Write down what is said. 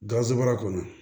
Gazemara kɔnɔ